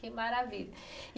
Que maravilha.